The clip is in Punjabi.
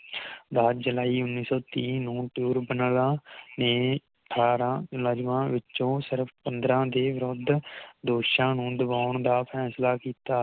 ਦਸ ਜੁਲਾਈ ਉਨ੍ਹੀ ਸੌ ਤੀਹ ਨੂੰ ਟਿਊਰਬਨਲਾ ਨੇ ਅਠਾਰਹ ਮੁਲਾਜ਼ਮ ਵਿੱਚੋ ਸਿਰਫ ਪੰਦ੍ਰਹ ਦੇ ਵਿਰੁੱਧ ਦੋਸ਼ਾਂ ਨੂੰ ਦਬਾਉਣ ਦਾ ਫੈਸਲਾ ਕੀਤਾ